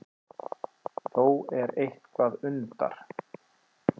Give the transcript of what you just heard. Þó er eitthvað undar